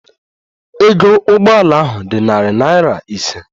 Ego Ụgbọ ala ahụ dị narị naira ise